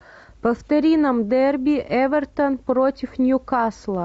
повтори нам дерби эвертон против ньюкасла